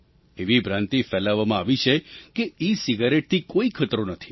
એવી ભ્રાન્તિ ફેલાવવામાં આવી છે કે ઇસિગારેટથી કોઈ ખતરો નથી